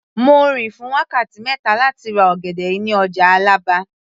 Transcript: Mo rìn fún wákàtí mẹ́ta láti ra ọ̀gẹ̀dẹ̀ yìí ní ọjà Àlàbá